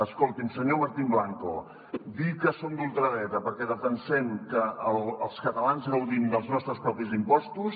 escolti’m senyor martín blanco dir que som d’ultradreta perquè defensem que els catalans gaudim dels nostres propis impostos